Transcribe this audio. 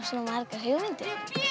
hugmyndir